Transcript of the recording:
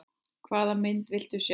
Hvaða mynd viltu sjá?